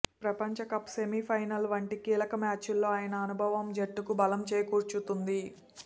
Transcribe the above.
ప్రపంచ cup semi final వంటి కీలక మ్యాచుల్లో ఆయన అనుభవం జట్టుకు బలం చేకూర్చుతుంది